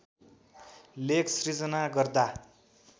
लेख सृजना गर्दा